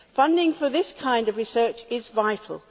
Funding for this kind of research is vital.